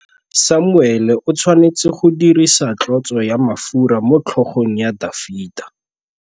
Samuele o tshwanetse go dirisa tlotsô ya mafura motlhôgong ya Dafita.